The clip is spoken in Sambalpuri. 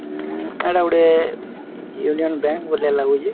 ଉଁ ଏଟା ଗୋଟେ ୟୁନିୟନ୍‌ ବ୍ୟାଙ୍କ ଭଲିଆ ଲାଗୁଛେ।